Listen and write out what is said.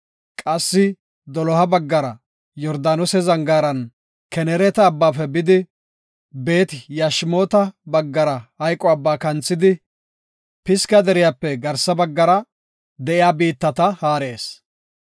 Qassi doloha baggara Yordaanose zangaaran Kenereeta abbaafe bidi, Beet-Yashimoota baggara Maxine Abbaa kanthidi, Pisga deriyape garsa baggara de7iya biittata haarees.